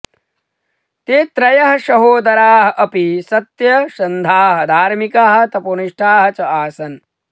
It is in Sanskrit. ते त्रयः सहोदराः अपि सत्यसन्धाः धार्मिकाः तपोनिष्ठाः च आसन्